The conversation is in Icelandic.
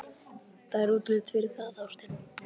Það er útlit fyrir það, ástin.